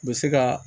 U bɛ se ka